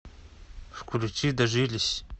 включи дожились